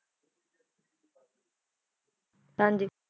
ਹਾਂਜੀ